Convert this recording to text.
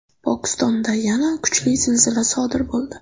Pokistonda yana kuchli zilzila sodir bo‘ldi.